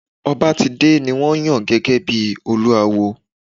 Obatide ni won yan gege bi Olúawo.